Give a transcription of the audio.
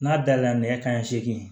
N'a dala nɛgɛ kanɲɛ seegin